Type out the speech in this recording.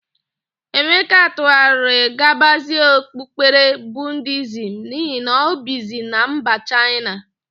Emeka tụgharịrị gabazie okpukpere Budiizm n'ihi na ọ bizi na mba Chaịna.